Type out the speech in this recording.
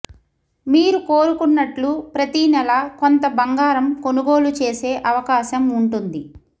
మీరు కోరుకున్నట్లు ప్రతీనెల కొంత బంగారం కొనుగోలు చేసే అవకాశం ఉంటుంది